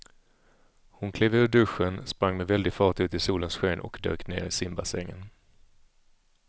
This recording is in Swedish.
Hon klev ur duschen, sprang med väldig fart ut i solens sken och dök ner i simbassängen.